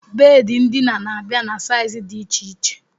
Bedi ndina na-abịa na saizi dị iche iche